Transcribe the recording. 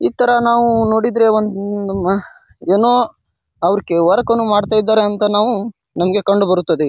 ಈ ತರ ನಾವು ನೋಡಿದ್ರೆ ಒಂದ್ ಅಮ್ ಏನೋ ಅವ್ರ್ಕ್ ವರ್ಕ್ನು ನು ಮಾಡತ್ತಾಯಿದ್ದಾರೆ ಅಂತ ನಾವು ನಮ್ಮಗೆ ಕಂಡುಬರುತ್ತದೆ.